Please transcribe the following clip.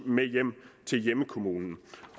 med hjem til hjemkommunen